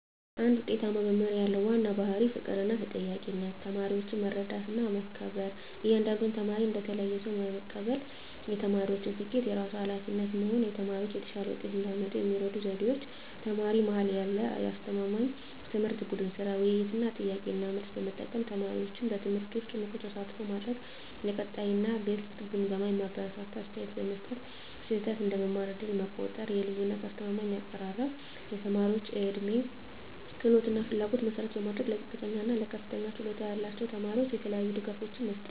አንድ ውጤታማ መምህር ያለው ዋና ባሕርይ ፍቅርና ተጠያቂነት ተማሪዎችን መረዳትና መከበር እያንዳንዱን ተማሪ እንደ ተለየ ሰው መቀበል የተማሪዎችን ስኬት የራሱ ኃላፊነት መሆን ተማሪዎች የተሻለ ውጤት እንዲያመጡ የሚረዱ ዘዴዎች ተማሪ-መሃል ያደረገ አስተማማኝ ትምህርት ቡድን ሥራ፣ ውይይት እና ጥያቄ–መልስ መጠቀም ተማሪዎችን በትምህርቱ ውስጥ ንቁ ተሳትፎ ማድረግ የቀጣይ እና ግልጽ ግምገማ የሚያበረታታ አስተያየት መስጠት ስህተት እንደ መማር ዕድል መቆጠር የልዩነት አስተማማኝ አቀራረብ የተማሪዎች ዕድሜ፣ ክህሎት እና ፍላጎት መሠረት ማድረግ ለዝቅተኛ እና ለከፍተኛ ችሎታ ያላቸው ተማሪዎች የተለያዩ ድጋፎች መስጠት